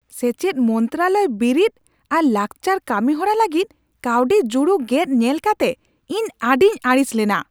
ᱥᱮᱪᱮᱫ ᱢᱚᱱᱛᱨᱟᱞᱚᱭ ᱵᱤᱨᱤᱫ ᱟᱨ ᱞᱟᱠᱪᱟᱨ ᱠᱟᱹᱢᱤ ᱦᱚᱨᱟ ᱞᱟᱹᱜᱤᱫ ᱠᱟᱹᱣᱰᱤ ᱡᱩᱲᱩ ᱜᱮᱫ ᱧᱮᱞ ᱠᱟᱛᱮ ᱤᱧ ᱟᱹᱰᱤᱧ ᱟᱹᱲᱤᱥ ᱞᱮᱱᱟ ᱾